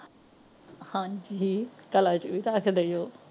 ਹਾਂਜੀ ਕਲਾ ਜੀ ਵੀ ਰੱਖਦੇ ਜੋ